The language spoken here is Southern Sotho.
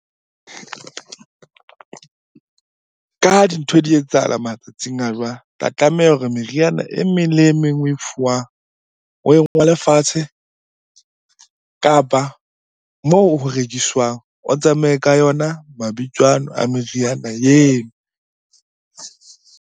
Ka ha dintho di etsahala matsatsing a jwale. Ba tlameha hore meriana e meng le e meng oe fuwang, oe ngole fatshe. Kapa moo ho rekiswang, o tsamaye ka yona mabitso ano a meriana .